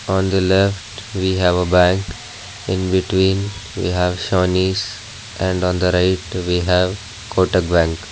On the left we have a bank in between we have sawhneys and on the right we have kotak bank.